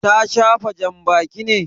Ta shafa janbaki ne?